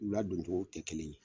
U ladon cogo te kelen ye.